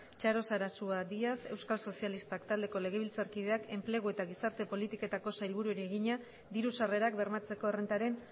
txaro sarasua díaz euskal sozialistak taldeko legebiltzarkideak enplegu eta gizarte politiketako sailburuari egina diru sarrerak bermatzeko errentaren